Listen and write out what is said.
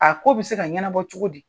A ko bɛ se ka ɲɛnabɔ cogo di.